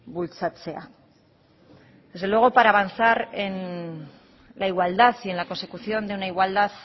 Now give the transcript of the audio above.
bultzatzea desde luego para avanzar en la igualdad y en la consecución de una igualdad